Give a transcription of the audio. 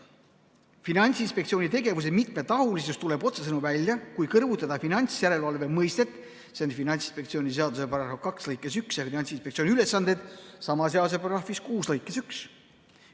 Finantsinspektsiooni tegevuse mitmetahulisus tuleb otsesõnu välja, kui kõrvutada finantsjärelevalve mõistet, see on esitatud Finantsinspektsiooni seaduse § 2 lõikes 1, ja Finantsinspektsiooni ülesandeid, mis on esitatud sama seaduse § 6 lõikes 1.